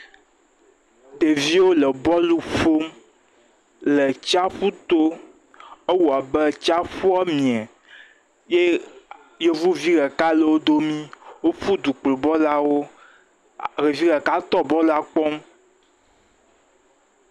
Ɖeviwo le bɔlu ƒom le tsyaƒu to ewɔ abe tsyaƒua mie ye yevuvi ɖeka le wodomi woƒu du kplɔ bɔlua ɖo ɖevi ɖeka tɔ bɔlua kpɔm